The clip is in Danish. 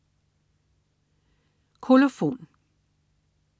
Kolofon